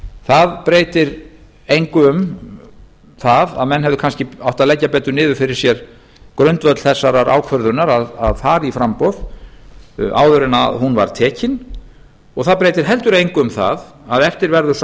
það breytir engu um það að menn hefðu kannski átt að leggja betur niður fyrir sér grundvöll þessarar ákvörðunar að fara í framboð áður en hún var tekin og það breytir heldur engu um það að eftir verður sá